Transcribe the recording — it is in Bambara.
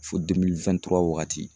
Fo waagati.